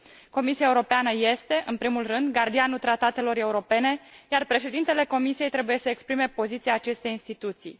Comisia Europeană este, în primul rând, gardianul tratatelor europene, iar președintele Comisiei trebuie să exprime poziția acestei instituții.